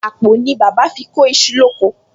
Àpò ni bàbá fi kó iṣu lóko